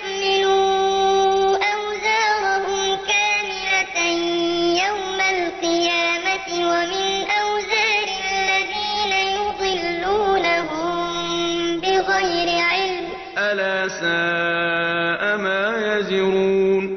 أَلَا سَاءَ مَا يَزِرُونَ لِيَحْمِلُوا أَوْزَارَهُمْ كَامِلَةً يَوْمَ الْقِيَامَةِ ۙ وَمِنْ أَوْزَارِ الَّذِينَ يُضِلُّونَهُم بِغَيْرِ عِلْمٍ ۗ أَلَا سَاءَ مَا يَزِرُونَ